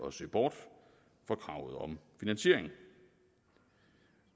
at se bort fra kravet om finansiering